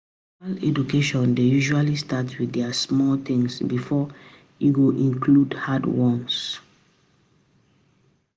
Formal education dey usually start with di small things before e go include hard ones